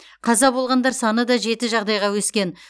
қаза болғандар саны да жеті жағдайға өскен